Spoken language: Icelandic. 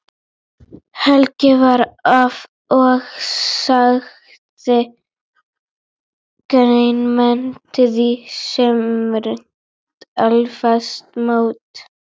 Hellið vatninu af og setjið grænmetið í smurt eldfast mót.